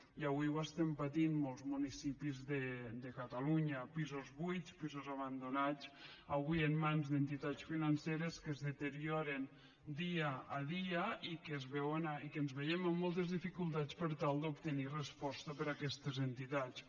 i avui ho estem patint en molts municipis de catalunya pisos buits pisos abandonats avui en mans d’entitats financeres que es deterioren dia a dia i que ens veiem amb moltes dificultats per tal d’obtenir resposta per aquestes entitats